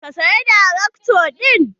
Ka saya tarakta ɗin?